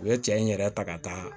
U ye cɛ in yɛrɛ ta ka taa